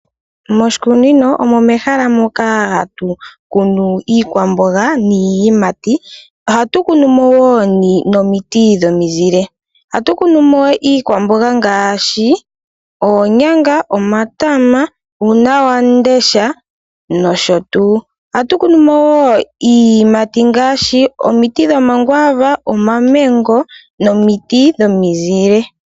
Moshikunino omo mehala moka hatu kunu iikwamboga niiyimati. Ohatu kunu mo woo nomiti dhomizile. Ohatu kunu mo iikwamboga ngaashi oonyanga, omatama, uunawamundesha nosho tuu. Ohatu kunu mo woo iiyimati ngaashi omiti dhomakwaava, omamengo nomiti dhomizile.